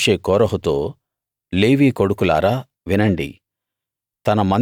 ఇంకా మోషే కోరహుతో లేవీ కొడుకులారా వినండి